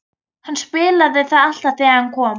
Hann spilaði það alltaf þegar hann kom.